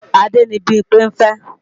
Adé ni Bímpé ń fẹ́